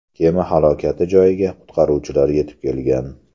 Kema halokati joyiga qutqaruvchilar yetib kelgan.